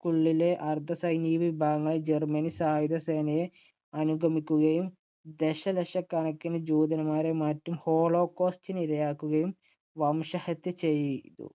ക്കുള്ളില്‍ അർദ്ധസൈനികവിഭാഗങ്ങൾ ജർമ്മൻ സായുധസേനയെ അനുഗമിക്കുകയും ദശലക്ഷക്കണക്കിന് ജൂതന്മാരെയും മറ്റ് holocoast ഇന് ഇരയാക്കുകയും, വംശഹത്യ ചെയ്യ്‌